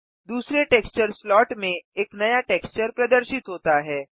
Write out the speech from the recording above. दूसरे texture slot में एक नया टेक्सचर प्रदर्शित होता है